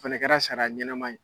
O fɛnɛ kɛra saria ɲɛnɛman ye.